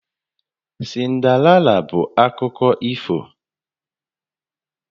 Cinderella bụ ụdị akụkọ ifo